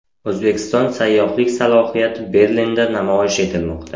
O‘zbekiston sayyohlik salohiyati Berlinda namoyish etilmoqda.